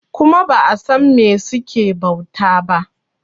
kuma ba a San me suke bauta ba